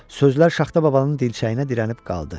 Sözlər Şaxta babanın dilçəyinə dirənib qaldı.